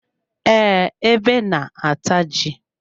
Ee, ebe na-ata ji.